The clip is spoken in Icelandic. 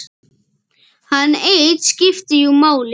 Hann einn skipti jú máli.